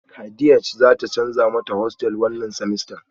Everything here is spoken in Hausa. Kadiaj zata canza mata hostel wannan semester